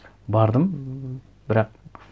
бардым бірақ